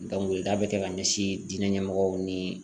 bɛ kɛ ka ɲɛsin diinɛ ɲɛmɔgɔw ni